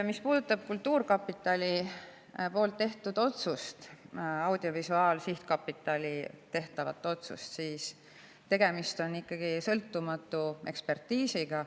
Mis puudutab kultuurkapitali otsust, audiovisuaalse sihtkapitali otsust, siis tegemist on ikkagi sõltumatu ekspertiisiga.